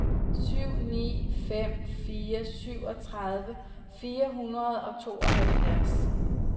syv ni fem fire syvogtredive fire hundrede og tooghalvfjerds